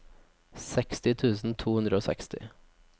seksti tusen to hundre og seksti